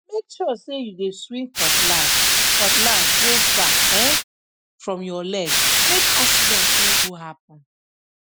make sure say you dey swing cutlass cutlass go far um from your legmake accident no go happen